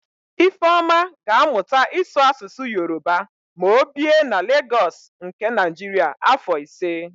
Ifeọma ga-amụta ịsụ Asụsụ Yoroba ma o bie na Legọs nke Naịjiria afọ ise.